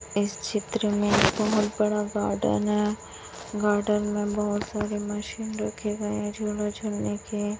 इस चित्र में बहोत बड़ा गार्डन है गार्डन में बहोत सारे मशीन रखे गए है झूला झूलने के --